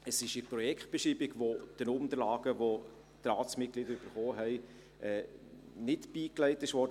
Es ist eine Projektbeschreibung, welche den Unterlagen, welche die Ratsmitglieder erhalten haben, nicht beigelegt wurde.